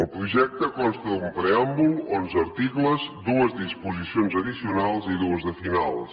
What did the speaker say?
el projecte consta d’un preàmbul onze articles dues disposicions addicionals i dues de finals